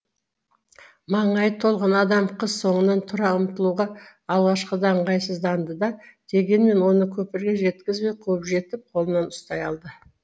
маңайы толған адам қыз соңынан тұра ұмтылуға алғашқыда ыңғайсызданды да дегенмен оны көпірге жеткізбей қуып жетіп қолынан ұстай алды